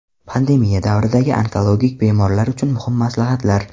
Pandemiya davridagi onkologik bemorlar uchun muhim maslahatlar.